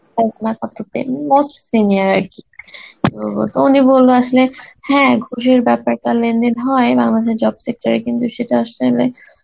most senior আরকি, তো তো উনি বলল আসলে, হ্যাঁ ঘুসের বেপারটা লেনদেন হয়, আমাদের job sector এ কিন্তু সেটা আসলে